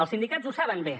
els sindicats ho saben bé